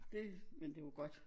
Det men det jo godt